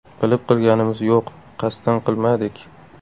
Bilib qilganimiz yo‘q, qasddan qilmadik.